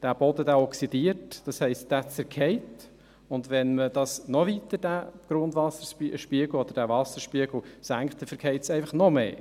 Der Boden oxidiert, das heisst, er zerfällt, und wenn man den Grundwasserspiegel oder den Wasserspiegel noch weiter senkt, zerfällt er noch mehr.